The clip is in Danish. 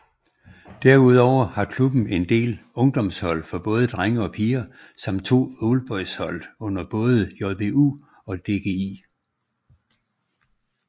Derudover har klubben en del ungdomshold for både drenge og piger samt to oldboyshold under både JBU og DGI